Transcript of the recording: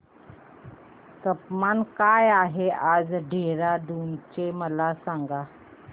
तापमान काय आहे आज देहराडून चे मला सांगा